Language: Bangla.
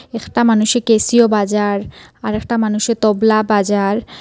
একতা মানুষে ক্যাসিও বাজার আর একটা মানুষে তবলা বাজার।